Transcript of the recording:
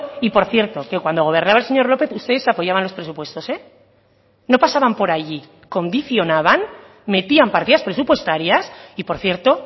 y por cierto que cuando gobernaba el señor lópez ustedes apoyaban los presupuestos no pasaban por allí condicionaban metían partidas presupuestarias y por cierto